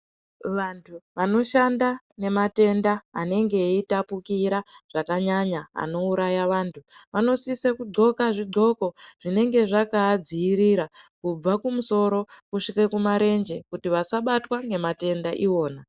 Vantu vanoshanda nematenda anenge ameyi tapukira zvakanya anouraya vantu vanosisa kundxoka zvondxoko zvinenge zvakavadzivirira kubva kumusoro kusvika kumarenje kuti vasabatwa ngematenda iwona.